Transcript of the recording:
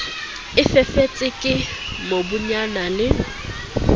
e fifetse ke mobunyana le